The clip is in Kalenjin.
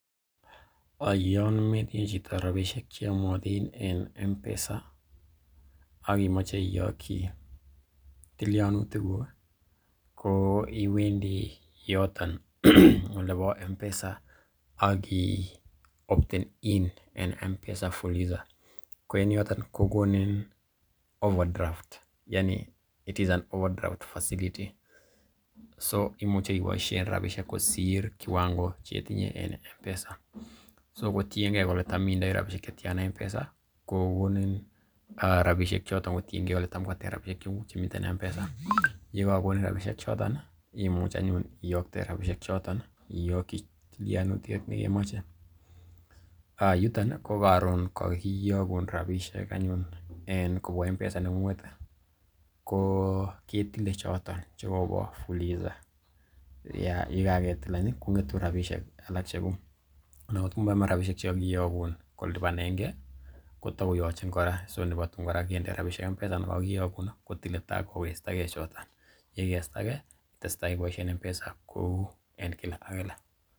Yon metinye chito rabishek che yomotin en M-Pesa ak imoche iyoki tilyanutik kuk ko iwendi yoton olebo M-Pesa ak i opten in en M-Pesa fuliza ko en yoton kogonin overdraft yaani it is an overdraft facility so imuche iboishen rabishek kosir kiwango chetinye en M-Pesa . So kotinge kole tam itindoi rabinik che tyana en M-Pesa ko kogonin rabishek choto kotienge kole tam koata rabishek chetindoi en M-Pesa, ye kagonin rabishek choton imuch eanyun iyokte rabishek choton iyoki tilyanutiet ne kemoche. Yuton i ko koron kagiyogun rabishek anyun kobwa M-Pesa neng'ung'et ko ketile choto che kobo fuliza ye kagetil any ii kong'etun rabishek ccheguk ana ngotko moyome rabishek che kogiyogun kolipanenge ko togoyochin kora so nebo tun kende rabishjek M-Pesa anan kogiyogun, kotile tagokesta ge choton. Ye igesta ge itestai iboishen M-Pesa kou en kila ak kila.